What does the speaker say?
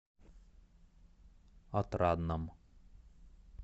отрадном